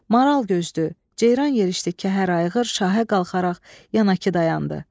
Maral gözdü, ceyran yerişdi kəhər ayğır şahə qalxaraq yana kı dayandı.